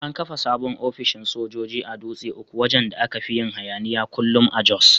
An kafa sabon ofishin sojoji a Dutse uku wajan da aka fin yin hayaniya kullum a Jos.